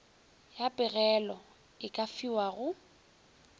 ya pegelo e ka fiwago